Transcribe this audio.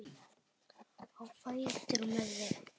Á fætur með þig!